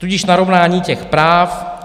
Tudíž narovnání těch práv.